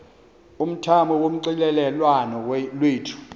umthamo wonxielelwano lwethu